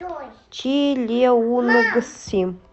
чилеунгси